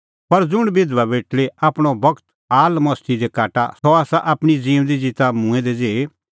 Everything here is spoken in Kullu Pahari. पर ज़ुंण बिधबा बेटल़ी आपणअ बगत आलमस्ती दी काटा सह आसा आपणीं ज़िऊंदी ज़िता मूंऐं दै ज़ेही